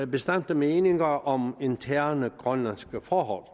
bastante meninger om interne grønlandske forhold